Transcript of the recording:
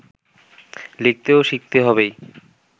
লিখতে ও শিখতে হবেই